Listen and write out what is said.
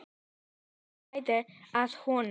Svenni hlær að honum.